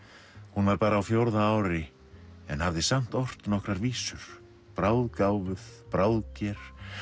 hún var bara á fjórða ári en hafði samt ort nokkrar vísur bráðger